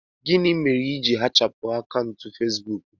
Gịnị mere i ji hichapụ akaụntụ Facebook gị